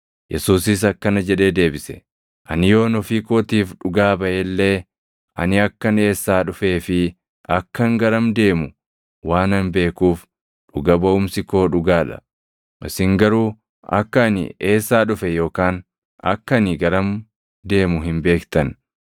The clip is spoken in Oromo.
Yesuusis akkana jedhee deebise; “Ani yoon ofii kootiif dhugaa baʼe illee ani akkan eessaa dhufee fi akkan garam deemu waanan beekuuf dhuga baʼumsi koo dhugaa dha. Isin garuu akka ani eessaa dhufe yookaan akka ani garam deemu hin beektan.